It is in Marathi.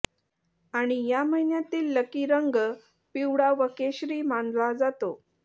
आणि या महिन्यातील लकी रंग पिवळा व केशरी मानला जातो